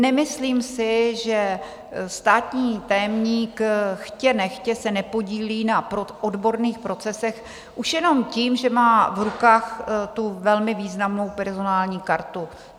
Nemyslím si, že státní tajemník chtě nechtě se nepodílí na odborných procesech už jenom tím, že má v rukách tu velmi významnou personální kartu.